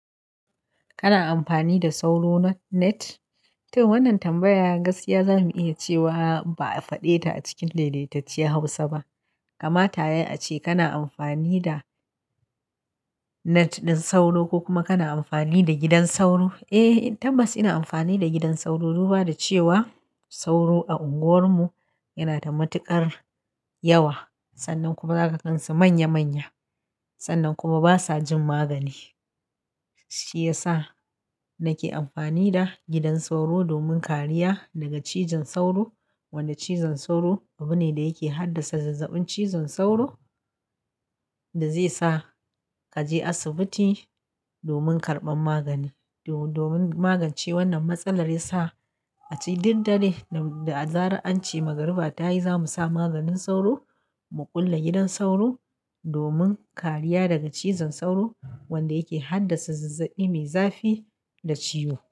Kana amfani da sauro na net? To wannan tambaya gaskiya za mu iya cewa ba'a faɗe ta a cikin daidaitacciyar Hausa ba. Kamata yai a ce kana amfani da net na sauro ko kuma kana amfani da gidan sauro? Eh, tabbas ina amfani da gidan sauro duba cewa sauro a unguwarmu yana da matuƙar yawa sannan kuma zaka gansu manya manya sannan kuma basa jin magani. Shi ya sa nake amfani da gidan sauro domin kariya daga cizon sauro, wanda cizon sauro abu ne da yake haddasa zazzaɓin cizon sauro da zai sa ka je asibiti domin karɓan magani. Do-domin magance wannan matsalar ya sa- a ce duk dare da, da zaran an ce magariba tayi zamu sa maganin sauro mu ƙulla gidan sauro domin kariya daga cizon sauro wanda yake haddasa zazzaɓi mai zafi da ciwo.